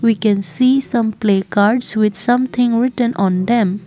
we can see some placards with something written on them.